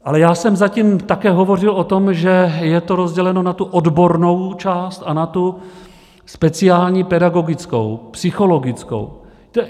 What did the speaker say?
Ale já jsem zatím také hovořil o tom, že je to rozděleno na tu odbornou část a na tu speciální pedagogickou, psychologickou.